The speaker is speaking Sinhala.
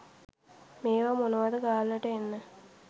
මේවා මොනවද ගාල්ලට එන්න